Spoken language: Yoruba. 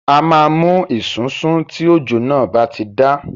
A máa mú esunsun tí òjò náà bá ti dá.